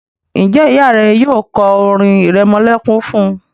Njé Ìyá rẹ yóò ko orin iremolekun fún?